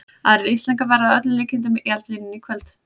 Aðrir Íslendingar verða að öllum líkindum í eldlínunni í kvöld.